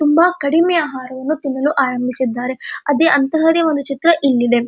ತುಂಬಾ ಕಡಿಮೆ ಆಹಾರವನ್ನು ತಿನ್ನಲು ಆರಂಭಿಸಿದ್ದಾರೆ ಅದೆ ಅಂತಹದೆ ಒಂದು ಚಿತ್ರ ಇಲ್ಲಿದೆ.